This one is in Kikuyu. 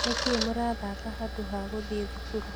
Nĩkĩĩ mũrathaka handũ ha gũthiĩ thukuru?